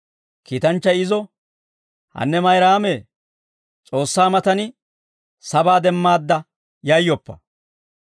Kiitanchchay izo, «Hanne Mayraamee, S'oossaa matan sabaa demmaadda yayyoppa.